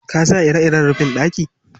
Ka sa ire-iren rufin ɗaki?